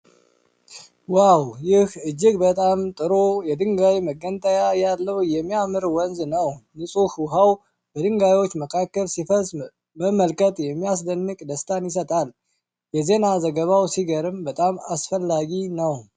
ዋው! ይህ እጅግ በጣም ጥሩ የድንጋይ መገንጠያ ያለው የሚያምር ወንዝ ነው። ንጹህ ውሃው በድንጋዮቹ መካከል ሲፈስ መመልከት የሚያስደንቅ ደስታን ይሰጣል። የዜና ዘገባው ሲገርም በጣም አስፈላጊ ነው።